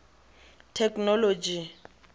technology